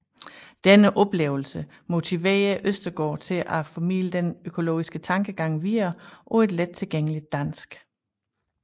Denne oplevelse motiverede Østergaard til at formidle den økologiske tankegang videre på et lettilgængeligt dansk